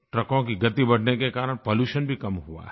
ट्रकों की गति बढ़ने के कारण पॉल्यूशन भी कम हुआ है